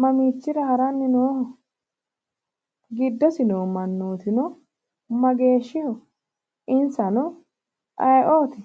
mamiichira haranni nooho? giddosi noo mannootino mageeshshiho? insano ayeeooti?